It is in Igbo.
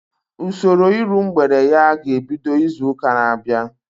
Usoro iru mgbede ya ga-ebido izu ụka na-abịa